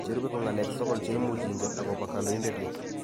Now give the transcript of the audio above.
Che rube ko ng'alek sokol che imuch ingen akobo kandoindet ni.